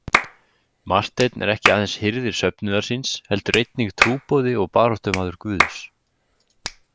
Marteinn er ekki aðeins hirðir söfnuðar síns heldur einnig trúboði og baráttumaður Guðs.